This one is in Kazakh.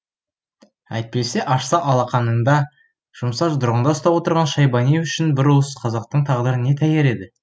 әйтпесе ашса алақанында жұмса жұдырығында ұстап отырған шайбани үшін бір уыс қазақтың тағдыры не тәйір еді